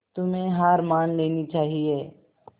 तुम्हें हार मान लेनी चाहियें